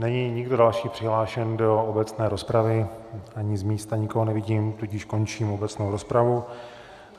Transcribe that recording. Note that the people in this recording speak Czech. Není nikdo další přihlášen do obecné rozpravy ani z místa nikoho nevidím, tudíž končím obecnou rozpravu.